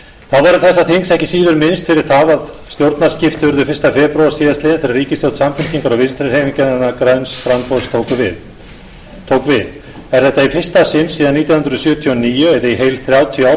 verður þessa þings ekki síður minnst fyrir það að stjórnarskipti urðu fyrstu febr síðastliðinn þegar ríkisstjórn samfylkingar og vinstri hreyfingarinnar græns framboðs tók við er þetta í fyrsta sinn síðan nítján hundruð sjötíu og níu eða í heil þrjátíu ár